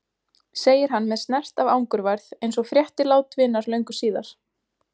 segir hann með snert af angurværð eins og frétti lát vinar löngu síðar.